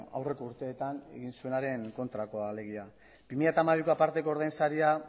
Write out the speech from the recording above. aurreko urteetan egin zuenaren kontrakoa alegia bi mila hamabiko aparteko ordain saria